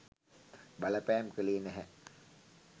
බලපෑම් කළේ නැහැ.